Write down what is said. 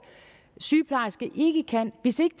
sygeplejerske ikke kan hvis ikke